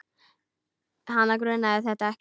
Hana grunaði þetta ekki.